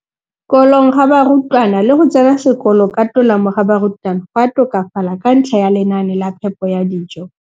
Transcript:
Kolong ga barutwana le go tsena sekolo ka tolamo ga barutwana go a tokafala ka ntlha ya lenaane la phepo ya dijo.